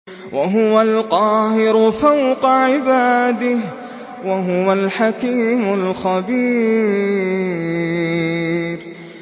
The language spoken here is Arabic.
وَهُوَ الْقَاهِرُ فَوْقَ عِبَادِهِ ۚ وَهُوَ الْحَكِيمُ الْخَبِيرُ